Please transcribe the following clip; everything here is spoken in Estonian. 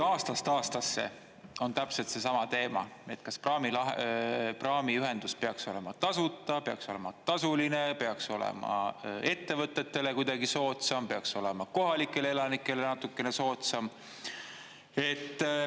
Aastast aastasse on täpselt seesama teema, et kas praami praamiühendus peaks olema tasuta, peaks olema tasuline, peaks olema ettevõtetele kuidagi soodsam, peaks olema kohalikele elanikele natukene soodsam.